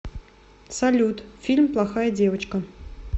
салют фильм плохая девочка